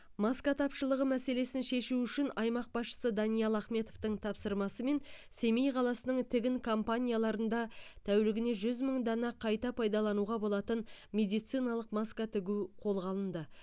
маска тапшылығы мәселесін шешу үшін аймақ басшысы даниал ахметовтің тапсырмасымен семей қаласының тігін компанияларында тәулігіне жүз мың дана қайта пайдалануға болатын медициналық маска тігу қолға алынды